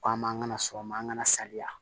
Ko an ma an kana sɔn o ma an kana saliya